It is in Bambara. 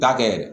Dakɛ